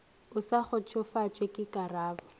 o sa kgotsofatšwe ke karabo